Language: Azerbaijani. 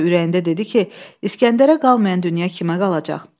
Yenə də ürəyində dedi ki, İsgəndərə qalmayan dünya kimə qalacaq?